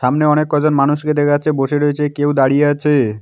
সামনে অনেক কজন মানুষকে দেখা যাচ্ছে বসে রয়েছে কেউ দাঁড়িয়ে আছে-এ।